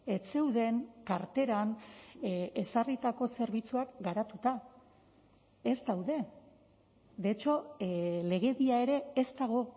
ez zeuden karteran ezarritako zerbitzuak garatuta ez daude de hecho legedia ere ez dago